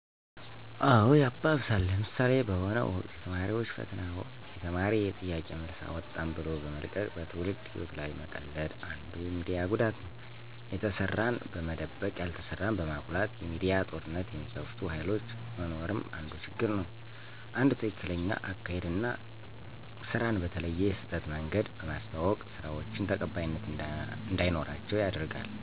አዎ ያባብሳል። ለምሣሌ፦ በሆነ ወቅት የተማሪዎች ፈተና ወቅት የተማሪ የጥያቄ መልስ አወጣን ብሎ በመልቀቅ በትውልድ ህይዎት ላይ መቀለድ አንዱ የሚዲያ ጉዳት ነው። የተሠራን በመደበቅ ያልተሠራን በማጉላት የሚዲያ ጦርነት የሚከፍቱ ሀይሎች መኖርም አንዱ ችግር ነው። አንድ ትክክለኛ አካሔድ አና ስራን በተለየ የስህተት መንገድ በማስተዋወቅ ስራዎችን ተቀባይነት እንዳይኖራቸው ያደርጋል።